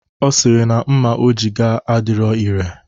Ọ sịrị na mma o ji gaa adirọ ire.